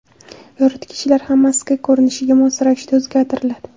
Yoritgichlar ham maskan ko‘rinishiga mos ravishda o‘zgartiriladi.